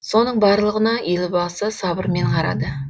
соның барлығына елбасы сабырмен қарады